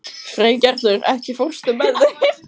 Freygerður, ekki fórstu með þeim?